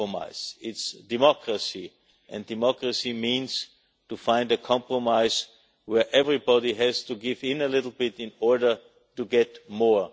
That is democracy and democracy means finding a compromise in which everybody has to give in a little bit in order to get more.